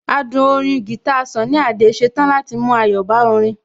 Adùn orin guitar Sunny Adé ṣetán láti mú ayọ̀ bá orin